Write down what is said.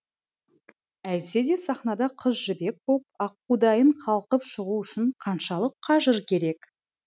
әйтсе де сахнада қыз жібек боп аққудайын қалқып шығу үшін қаншалық қажыр керек